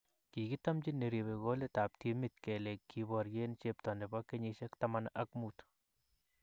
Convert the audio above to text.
Kigitamchi neribe kolitaab timit kele kiboryen chepto nepo kenyishek taman ak muut